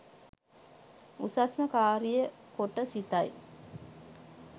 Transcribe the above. උසස්ම කාරිය කොට සිතයි